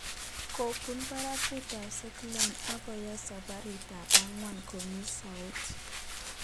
Kobun baragut ab Seattle akoyai sabarit ab angwan komii soet